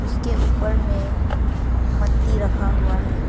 उसके ऊपर में मट्टी रखा हुआ है।